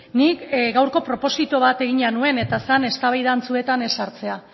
nik gaurko proposito bat egina nuen eta zen eztabaida antzuetan ez sartzea